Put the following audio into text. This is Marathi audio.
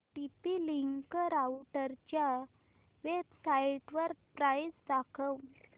टीपी लिंक राउटरच्या वेबसाइटवर प्राइस दाखव